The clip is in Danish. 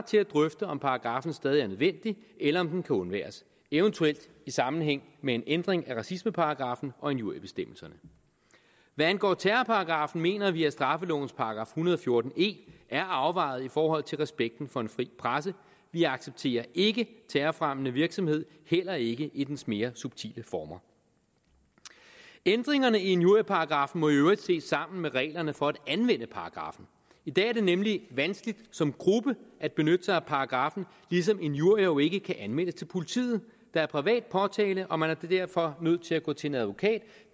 til at drøfte om paragraffen stadig er nødvendig eller om den kan undværes eventuelt i sammenhæng med en ændring af racismeparagraffen og injuriebestemmelserne hvad angår terrorparagraffen mener vi at straffelovens § en hundrede og fjorten e er afvejet i forhold til respekten for en fri presse vi accepterer ikke terrorfremmende virksomhed heller ikke i dens mere subtile former ændringerne i injurieparagraffen må i øvrigt ses sammen med reglerne for at anvende paragraffen i dag er det nemlig vanskeligt som gruppe at benytte sig af paragraffen ligesom injurier jo ikke kan anmeldes til politiet der er privat påtale og man er derfor nødt til at gå til en advokat